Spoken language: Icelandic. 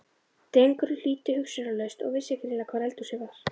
Drengurinn hlýddi hugsunarlaust og vissi greinilega hvar eldhúsið var.